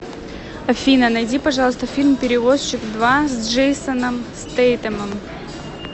афина найди пожалуйста фильм перевозчик два с джейсоном стейтемом